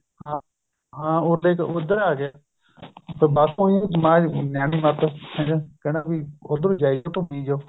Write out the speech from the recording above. ਹਾਂ ਉੱਧਰ ਆਂ ਗਿਆ ਬੱਸ ਉਹੀ ਨਿਆਣੀ ਮੱਤ ਕਹਿੰਦਾ ਵੀ ਉੱਧਰ ਨੂੰ ਜਾਈ ਜੋ ਘੁੱਮੀ ਜੋ